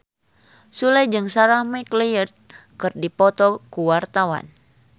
Sule jeung Sarah McLeod keur dipoto ku wartawan